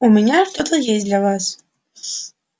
у меня что-то есть для вас